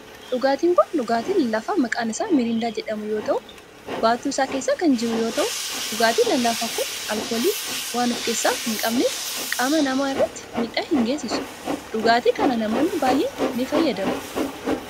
Dhugaatin kun dhugaatii lallaafaa maqaan isaa mirindaa jedhamu yoo ta'u baattu isaa keessa kan jiruu yeroo ta'uu. dhugaatin lallaafaan kun alkoolii waaan of keessaa hin qabneef qaama namaa irratti miidhaa hin geessisu. dhugaatii kana namoonni baayyeen ni fayyadamu.